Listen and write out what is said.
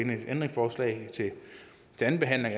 med et ændringsforslag til anden behandling